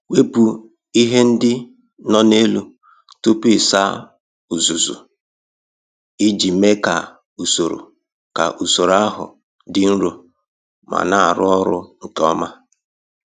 Wepụ ihe ndị no na elu tupu ịsa uzuzu iji mee ka usoro ka usoro ahụ dị nro ma na-arụ ọrụ nke ọma.